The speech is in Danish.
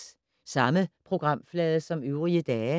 Samme programflade som øvrige dage